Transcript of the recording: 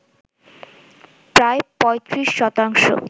প্রায় ৩৫ শতাংশ।